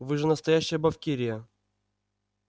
вы же настоящая бавкирия